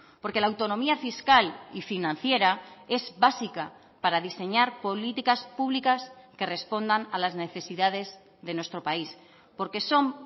porque la autonomía fiscal y financiera es básica para diseñar políticas públicas que respondan a las necesidades de nuestro país porque son